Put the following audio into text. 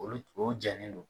Olu o jɛnnen don